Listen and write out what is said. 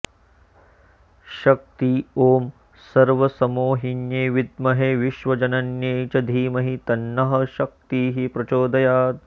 शक्ति ॐ सर्वसंमोहिन्यै विद्महे विश्वजनन्यै च धीमहि तन्नः शक्तिः प्रचोदयात्